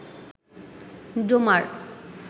Domar